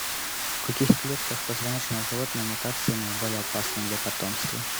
в каких клетках позвоночного животного мутации наиболее опасны для потомства